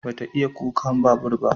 Ba ta iya tuka babur ba